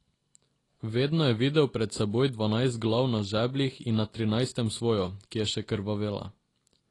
Vedno je videl pred seboj dvanajst glav na žebljih in na trinajstem svojo, ki je še krvavela.